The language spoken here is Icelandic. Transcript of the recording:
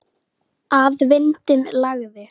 Að vindinn lægði.